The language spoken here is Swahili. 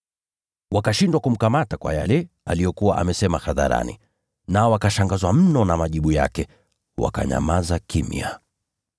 Wakashindwa kumkamata kwa yale aliyokuwa amesema hadharani. Nao wakashangazwa mno na majibu yake, wakanyamaza kimya.